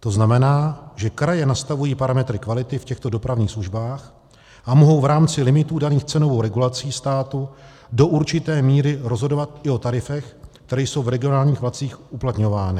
To znamená, že kraje nastavují parametry kvality v těchto dopravních službách a mohou v rámci limitů daných cenovou regulací státu do určité míry rozhodovat i o tarifech, které jsou v regionálních vlacích uplatňovány.